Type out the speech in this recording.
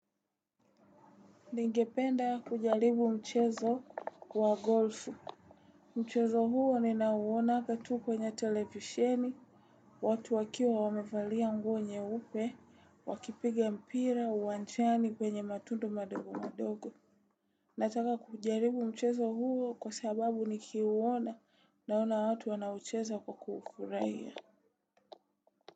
Ningependa kujaribu mchezo wa golfu. Mchezo huo ni na uonanga tu kwenye televisheni, watu wakiwa wamevalia nguo nyeupe, wakipiga mpira uwanjani kwenye matundu madogo madogo. Nataka kujaribu mchezo huo kwa sababu nikiuona naona watu wanaucheza kwa kufurahia.